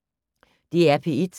DR P1